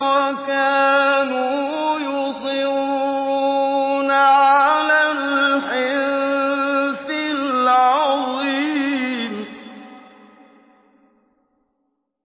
وَكَانُوا يُصِرُّونَ عَلَى الْحِنثِ الْعَظِيمِ